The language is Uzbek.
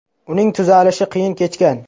Uning tuzalishi qiyin kechgan.